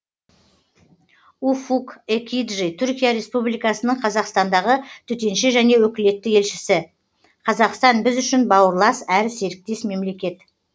уфук экиджи түркия республикасының қазақстандағы төтенше және өкілетті елшісі қазақстан біз үшін бауырлас әрі серіктес мемлекет